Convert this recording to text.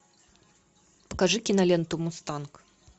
покажи киноленту мустанг